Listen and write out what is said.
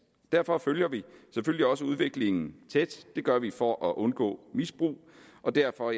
derfor følger vi selvfølgelig også udviklingen tæt det gør vi for at undgå misbrug og derfor